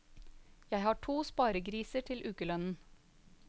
Jeg har to sparegriser til ukelønnen.